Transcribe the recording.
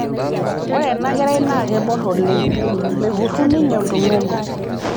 ore ena kerai naa keborr oleng' mekurru ninye oltung'ani